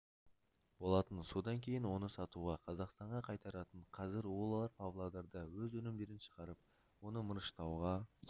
болатын содан кейін оны сатуға қазақстанға қайтаратын қазір олар павлодарда өз өнімдерін шығарып оны мырыштауға